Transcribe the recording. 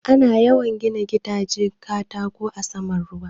Ana yawan gina gidajen katako a saman ruwa.